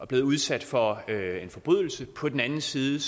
blevet udsat for en forbrydelse og på den anden side